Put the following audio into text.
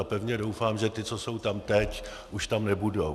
A pevně doufám, že ti, co jsou tam teď, už tam nebudou.